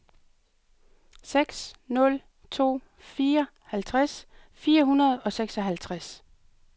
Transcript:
seks nul to fire halvtreds fire hundrede og seksoghalvtreds